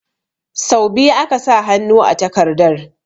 Sau biyu aka sa hannu a takardar